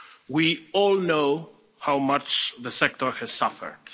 We all know how much the sector has suffered.